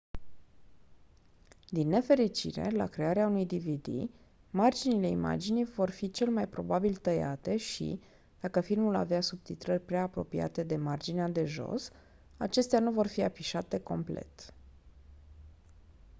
din nefericire la crearea unui dvd marginile imaginii vor fi cel mai probabil tăiate și dacă filmul avea subtitrări prea apropiate de marginea de jos acestea nu vor fi afișate complet